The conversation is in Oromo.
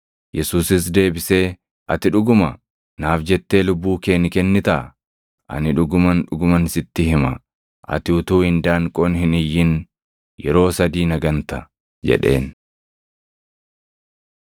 Yesuusis deebisee, “Ati dhuguma naaf jettee lubbuu kee ni kennitaa? Ani dhuguman, dhuguman sitti hima; ati utuu indaanqoon hin iyyin yeroo sadii na ganta” jedheen.